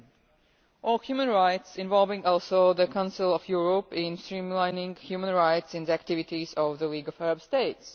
and human rights, involving also the Council of Europe in streamlining human rights within the activities of the League of Arab States.